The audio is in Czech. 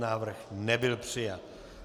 Návrh nebyl přijat.